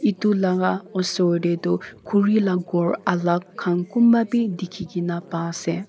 etu la osor te toh khuri laga ghor alak khan kunba bi dikhi kena pa ase.